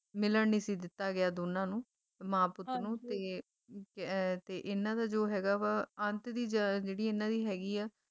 ਮਿਲਣ ਨਹੀਂ ਸੀ ਦਿੱਤਾ ਗਿਆ ਦੋਨਾਂ ਨੂੰ ਮਾਂ ਪੁੱਤ ਨੂੰ ਤੇ ਅਹ ਇਹਨਾਂ ਦਾ ਜੋ ਹੈਗਾ ਵਾ ਅੰਤ ਦੀ ਜਹ ਜਿਹੜੀ ਇਹਨਾਂ ਦੀ ਹੈਗੀ ਆ